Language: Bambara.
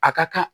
A ka kan